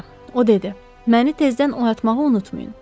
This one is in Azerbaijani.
O dedi: Məni tezdən oyatmağı unutmayın.